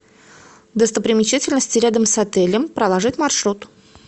достопримечательности рядом с отелем проложить маршрут